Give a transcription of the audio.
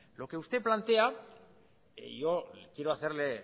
lo que usted plantea yo quiero hacerle